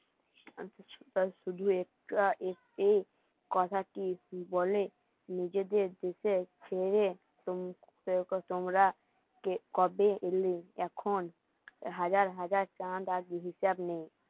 আর কিছুটা শুধু একটু কথাটি বলে নিজেদের দিকে চেয়ে তোমরা কে কবে এলে এখন? হাজার হাজার চাঁদ আর গিরি হিসাব নেই